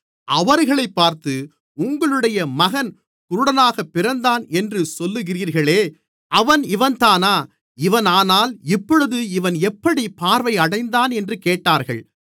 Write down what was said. அவர்களைப் பார்த்து உங்களுடைய மகன் குருடனாகப் பிறந்தான் என்று சொல்லுகிறீர்களே அவன் இவன்தானா இவனானால் இப்பொழுது இவன் எப்படிப் பார்வையடைந்தான் என்று கேட்டார்கள்